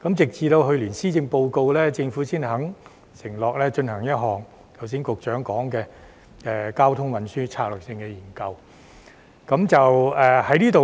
直至去年的施政報告，政府才願意承諾進行剛才局長談及的《交通運輸策略性研究》。